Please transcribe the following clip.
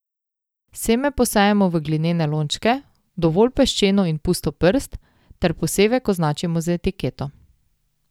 Seme posejemo v glinene lončke, v dovolj peščeno in pusto prst, ter posevek označimo z etiketo.